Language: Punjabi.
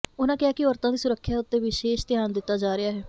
ਉਨ੍ਹਾ ਕਿਹਾ ਕਿ ਔਰਤਾ ਦੀ ਸੁਰੱਖਿਆ ਉਤੇ ਵਿਸ਼ੇਸ਼ ਧਿਆਨ ਦਿੱਤਾ ਜਾ ਰਿਹਾ ਹੈ